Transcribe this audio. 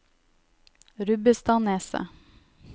Rubbestadneset